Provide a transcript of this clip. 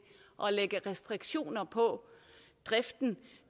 at lægge restriktioner på driften